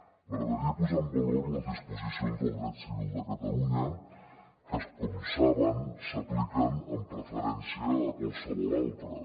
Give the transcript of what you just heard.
m’agradaria posar en valor les disposicions del dret civil de catalunya que com saben s’apliquen amb preferència a qualssevol altres